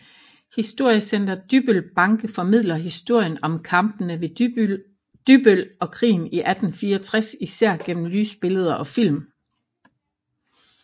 Historiecenter Dybbøl Banke formidler historien om Kampene ved Dybbøl og krigen i 1864 især gennem lysbilleder og film